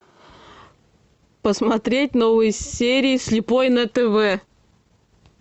посмотреть новые серии слепой на тв